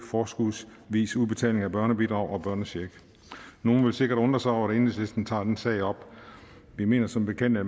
forskudsvis udbetaling af børnebidrag og børnecheck nogle vil sikkert undre sig over at enhedslisten tager den sag op vi mener som bekendt at